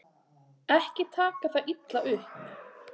Ekki taka það illa upp.